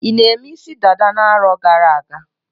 I na-eme isi dada na-arọ gara-aga?